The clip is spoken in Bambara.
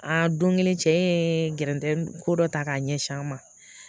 Aa don kelen cɛ ye gɛrɛndɛmu ko dɔ ta k'a ɲɛsin an ma